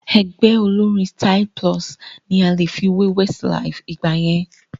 Ẹgbẹ́ olórín Styl-Plus ni a lè fi wé Westlife ìgbà yẹn